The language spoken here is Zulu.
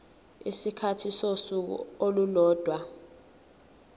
isikhathi sosuku olulodwa